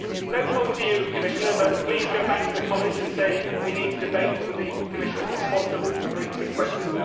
No fault to you, Commissioner, but please go back to the College and say we need to debate with the Commissioners responsible for the briefs in question.